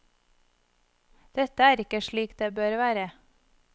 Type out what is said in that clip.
Dette er ikke slik det bør være.